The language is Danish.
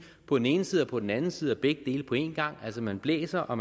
på den ene side og på den anden side og begge dele på en gang altså man blæser og